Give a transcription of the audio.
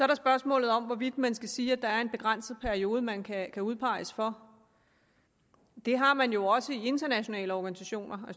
der spørgsmålet om hvorvidt man skal sige at der er en begrænset periode man kan udpeges for det har man jo også i internationale organisationer